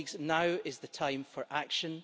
Now is the time for action.